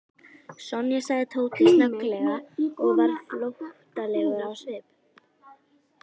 Sonja sagði Tóti snögglega og varð flóttalegur á svip.